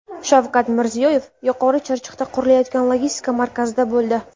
Shavkat Mirziyoyev Yuqori Chirchiqda qurilayotgan logistika markazida bo‘ldi.